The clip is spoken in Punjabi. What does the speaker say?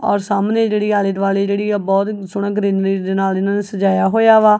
ਔਰ ਸਾਹਮਣੇ ਜਿਹੜੀ ਆਲੇ ਦੁਆਲੇ ਜਿਹੜੀ ਆ ਬਹੁਤ ਸੋਹਣਾ ਗਰੀਨਰੀ ਦੇ ਨਾਲ ਇਹਨਾਂ ਨੇ ਸਜਾਇਆ ਹੋਇਆ ਵਾ।